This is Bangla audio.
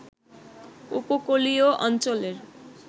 উপকূলীয় অঞ্চলের